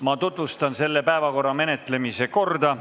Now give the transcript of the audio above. Ma tutvustan selle päevakorrapunkti menetlemise korda.